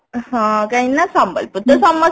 ହଁ କାହିଁକି ନା ସମ୍ବଲପୁରୀ ତ ସମସ୍ତିଙ୍କର